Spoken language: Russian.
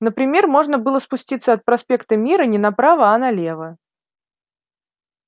например можно было спуститься от проспекта мира не направо а налево